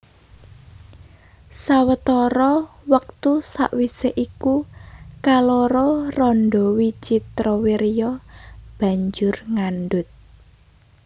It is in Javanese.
Sawetara wektu sawisé iku kaloro randha Wicitrawirya banjur ngandhut